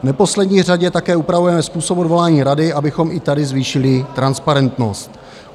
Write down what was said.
V neposlední řadě také upravujeme způsob odvolání rady, abychom i tady zvýšili transparentnost.